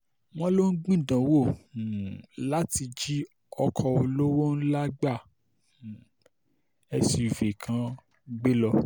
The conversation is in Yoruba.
wọ́n lọ ń gbìdánwò um láti jí ọkọ̀ olówó ńlá gba um suv kan gbé lọ